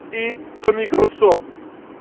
и домик руссо